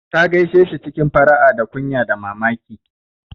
Ta gaishe shi cikin fara'a da kunya da mamaki.